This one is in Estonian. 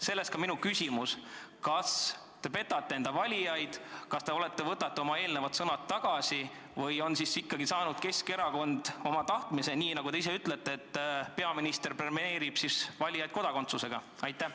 Sellest ka minu küsimus: kas te petate enda valijaid ja võtate oma eelnevad sõnad tagasi või on Keskerakond ikkagi saanud oma tahtmise ja – nagu te ise ütlete – peaminister premeerib valijaid kodakondsusega?